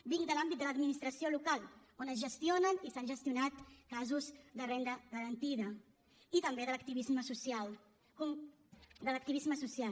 vinc de l’àmbit de l’administració local on es gestionen i s’han gestionat casos de renda garantida i també de l’activisme social